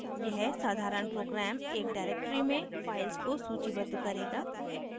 यह साधारण program एक directory में files को सूचीबद्ध करेगा